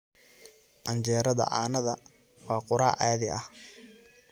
Canjeerada caanaha waa quraac caadi ah.